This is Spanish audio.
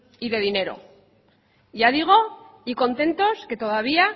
y de dinero ya digo y contentos que todavía